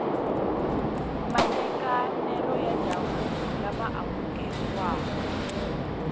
matekanelo ya ndzhavuko lama amukeriwaka